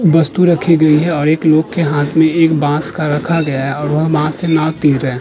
वस्तु रखी गई है और एक लोग के हाथ में एक बाँस का रखा गया है और वह बाँस से मार भी रहे हैं।